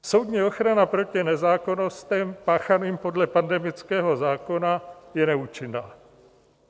Soudní ochrana proti nezákonnostem páchaným podle pandemického zákona je neúčinná.